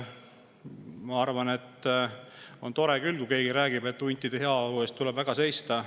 Ma arvan, et on tore küll, kui keegi räägib, et huntide heaolu eest tuleb seista.